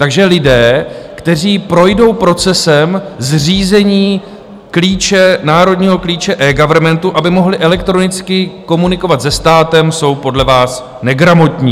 Takže lidé, kteří projdou procesem zřízení klíče, národního klíče eGovernmentu, aby mohli elektronicky komunikovat se státem, jsou podle vás negramotní.